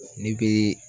Ni be